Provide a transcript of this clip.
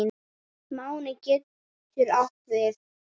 Máni getur átt við